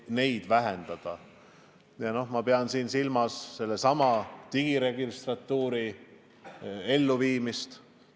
Väga tähtis on digiregistratuuri tööle rakendamine.